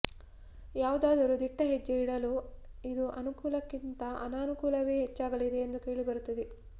ಯಾವುದಾದರೂ ದಿಟ್ಟ ಹೆಜ್ಜೆ ಇಡಲು ಇದು ಅನುಕೂಲಕ್ಕಿಂತಅನಾನುಕೂಲವೇ ಹೆಚ್ಚಾಗಲಿದೆ ಎಂದು ಕೇಳಿಬರುತ್ತಿದೆ